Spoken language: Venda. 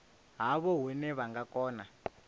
havho hune vha nga kona